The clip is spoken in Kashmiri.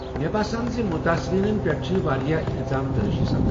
مےٚ باسان ز متٲثریٖنن پٮ۪ٹھ چھِ واریاہ الزام ترٲشی سپدان ۔